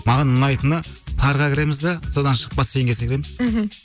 маған ұнайтыны парға кіреміз де содан шығып бассейнге секіреміз мхм